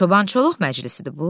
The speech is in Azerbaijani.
Çobançuluq məclisidir bu?